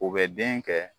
U bɛ den kɛ